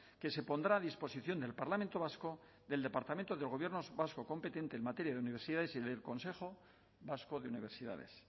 que se pondrá a disposición del parlamento vasco del departamento del gobierno vasco competente en materia de universidades y del consejo vasco de universidades